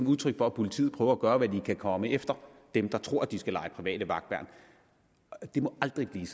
udtryk for at politiet prøver at gøre hvad de kan komme efter dem der tror de skal lege private vagtværn det må aldrig blive